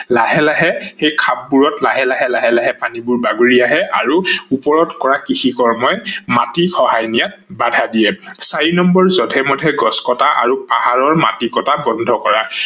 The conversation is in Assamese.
লাহে লাহে সেই খাপ বোৰত লাহে লাহে লাহে লাহে পানীবোৰ বাগৰি আহে আৰু ওপৰত কৰা কৃষি কৰ্মই মাটি খহাই নিয়াত বাধা দিয়ে ।চাৰি নম্বৰ জধে মধে গছ কতা আৰু পাহাৰৰ মাটি কতা বন্ধ কৰা